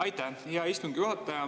Aitäh, hea istungi juhataja!